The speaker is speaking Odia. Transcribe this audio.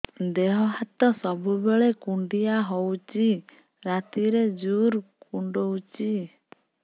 ଦେହ ହାତ ସବୁବେଳେ କୁଣ୍ଡିଆ ହଉଚି ରାତିରେ ଜୁର୍ କୁଣ୍ଡଉଚି